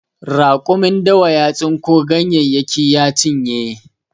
Raƙumin dawa ya tsinko ganyayyaki ya cinye.